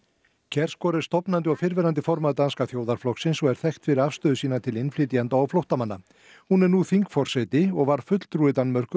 kjærsgaard er stofnandi og fyrrverandi formaður Danska þjóðarflokksins og er þekkt fyrir afstöðu sína til innflytjenda og flóttamanna hún er nú þingforseti og var fulltrúi Danmerkur